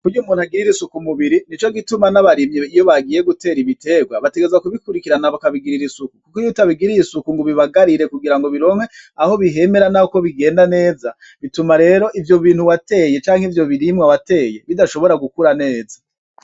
Kurya umuntu agirira isuku umubiri nico gituma n'abarimyi iyo bagiye gutera igiterwa bategerezwa ku bikurikirana baka bigirira isuku kuko iyo utabigiriye isuku ngo ubibagarire kugirango bironke aho bihemera nuko bigenda neza bituma rero ivyo bintu wateye canke ivyo birimwa wateye bidashobora gukura neza.